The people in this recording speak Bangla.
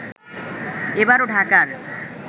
এবারও ঢাকার